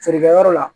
Feerekɛyɔrɔ la